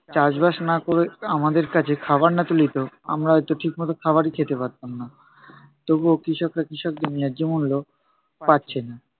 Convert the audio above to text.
চাষবাস না ক'রে, আমাদের কাছে খাবার না তুলে দিতো আমরা হয়তো ঠিক মতো খাবারই খেতে পারতাম না। তবুও কৃষকরা কৃষকদের ন্যায্য মূল্য পাচ্ছেন না।